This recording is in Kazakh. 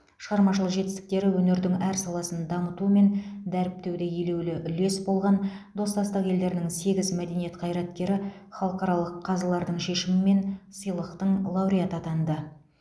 шығармашылық жетістіктері өнердің әр саласын дамыту мен дәріптеуде елеулі үлес болған достастық елдерінің сегіз мәдениет қайраткері халықаралық қазылардың шешімімен сыйлықтың лауреаты атанды